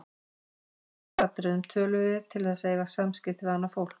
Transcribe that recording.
Í grundvallaratriðum tölum við til þess að eiga samskipti við annað fólk.